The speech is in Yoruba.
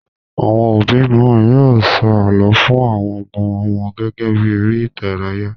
Àwọn òbí mìíràn yóò sọ àlọ́ fun àwọn ọmọ wọn gẹ́gẹ́ bí eré-idárayá.